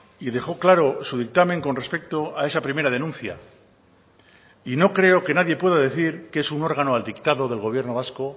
y dejó claro su dictamen con respecto a esa primera denuncia y no creo que nadie pueda decir que es un órgano al dictado del gobierno vasco